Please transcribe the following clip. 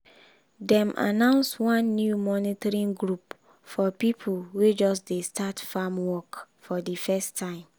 dem announce one new mentoring group for people wey just dey start farm work for di first time.